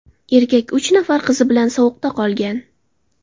Erkak uch nafar qizi bilan sovuqda qolgan.